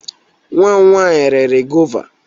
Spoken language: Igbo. Nwa m nwanyị riri gọva.